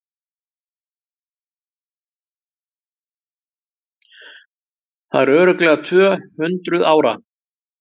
Þau eru örugglega TVÖ-HUNDRUÐ ÁRA!